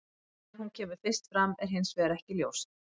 Hvenær hún kemur fyrst fram er hins vegar ekki ljóst.